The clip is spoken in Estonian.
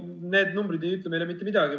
No need numbrid ei ütle meile mitte midagi.